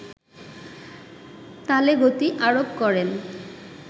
তালে গতি আরোপ করেন